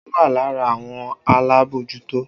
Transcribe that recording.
O wà lára àwọn alábòójútó